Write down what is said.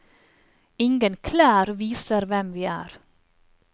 Ingen klær viser hvem vi er.